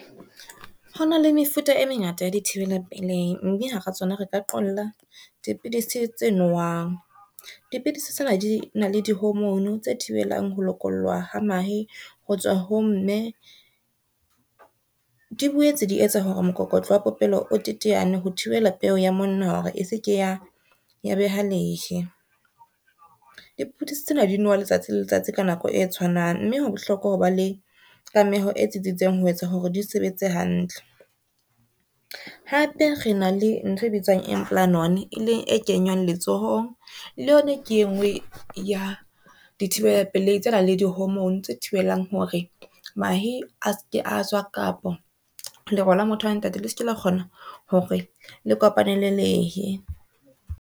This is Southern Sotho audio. Ho na le mefuta e mengata ya di thibela pelehi, mme hara tsona re ka qolla dipidisi tse nowang. Dipidisi tsena di na le di-homorne, tse thibelang ho lokollwa ha mahe ho tswa ho mme, di boetse di etsa hore mokokotlo wa popelo o teteane ho thibela peo ya monna hore e se ke ya beha lehe. Dipidisi tsena di nowa letsatsi le letsatsi ka nako e tshwanang, mme ho bohlokwa ho ba le e tsitsitseng ho etsa hore di sebetse hantle. Hape re na le ntho e bitswang implanton e leng e kenywang letsohong le yona, ke e ngwe ya di thibele tsenang le di-hormone tse thibelang hore mahe a se ke a tswa kapa lero le motho wa ntate le se ke la kgona hore le kopane le lehe.